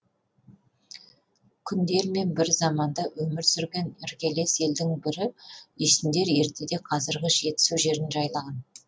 күндермен бір заманда өмір сүрген іргелес елдің бірі үйсіндер ертеде қазіргі жетісу жерін жайлаған